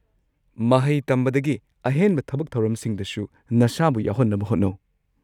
ꯃꯍꯩ ꯇꯝꯕꯗꯒꯤ ꯑꯍꯦꯟꯕ ꯊꯕꯛ-ꯊꯧꯔꯝꯁꯤꯡꯗꯁꯨ ꯅꯁꯥꯕꯨ ꯌꯥꯎꯍꯟꯅꯕ ꯍꯣꯠꯅꯧ꯫